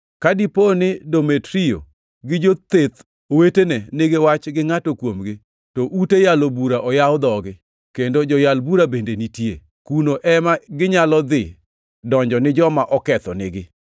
Ka dipo ni Demetrio gi jotheth wetene nigi wach gi ngʼato kuomgi, to ute yalo bura oyaw dhogi, kendo joyal bura bende nitie. Kuno ema ginyalo dhi donjo ni joma okethonigi.